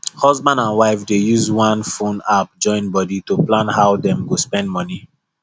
husband and wife dey use one phone app join body to plan how dem go spend money